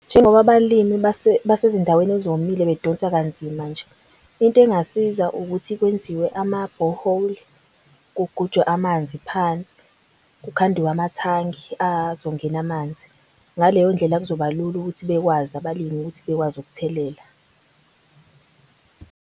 Njengoba abalimi basezindaweni ezomile bedonsa kanzima nje, into engasiza ukuthi kwenziwe amabhoholi. Kugujwe amanzi phansi, kukhandiwe amathangi azongena amanzi. Ngaleyo ndlela kuzobalula ukuthi bekwazi abalimi ukuthi bekwazi ukuthelela.